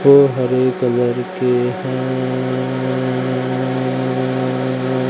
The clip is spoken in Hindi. ओ हरे कलर के हैं।